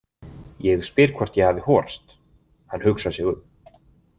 Ég spyr hvort ég hafi horast, hann hugsar sig um.